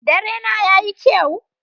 Dare na yayi kyau.